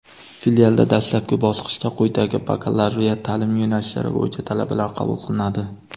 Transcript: Filialda dastlabki bosqichda quyidagi bakalavriat ta’lim yo‘nalishlari bo‘yicha talabalar qabul qilinadi:.